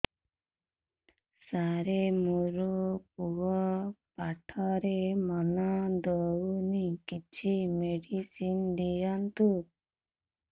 ସାର ମୋର ପୁଅ ପାଠରେ ମନ ଦଉନି କିଛି ମେଡିସିନ ଦିଅନ୍ତୁ